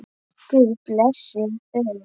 Guð blessi þau.